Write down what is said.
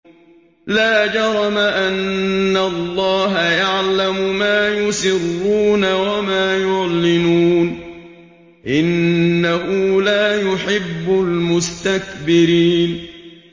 لَا جَرَمَ أَنَّ اللَّهَ يَعْلَمُ مَا يُسِرُّونَ وَمَا يُعْلِنُونَ ۚ إِنَّهُ لَا يُحِبُّ الْمُسْتَكْبِرِينَ